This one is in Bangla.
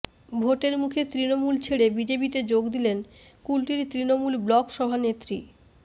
ভোটের মুখে তৃণমূল ছেড়ে বিজেপিতে যোগ দিলেন কুলটির তৃণমূল ব্লক সভানেত্রী